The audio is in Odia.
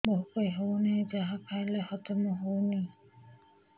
ଭୋକ ହେଉନାହିଁ ଯାହା ଖାଇଲେ ହଜମ ହଉନି